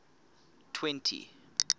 twenty